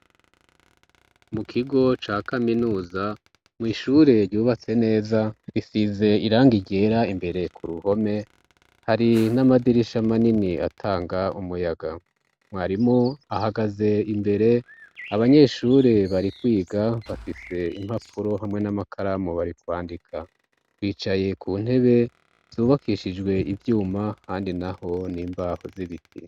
Mu kigo ca kaminuza mwishure ryubatse neza risize iranga ryera imbere ku ruhome hari n'amadirisha manini atanga umuyaga mwarimo ahagaze imbere abanyeshure bari kwiga bafise impapuro hamwe n'amakaramu bari kwandika ka wicaye ku ntebe zubakishijwe ivyuma handi na ho n'imbaho z'ibiti.